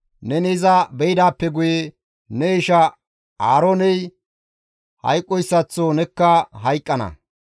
Neni iza beydaappe guye ne isha Aarooney hayqqoyssaththo nekka hayqqana;